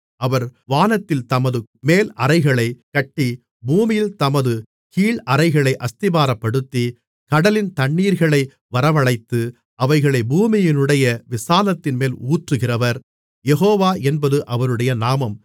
அவர் வானத்தில் தமது மேல் அறைகளைக் கட்டி பூமியில் தமது கீழ் அறைகளை அஸ்திபாரப்படுத்தி கடலின் தண்ணீர்களை வரவழைத்து அவைகளைப் பூமியினுடைய விசாலத்தின்மேல் ஊற்றுகிறவர் யெகோவா என்பது அவருடைய நாமம்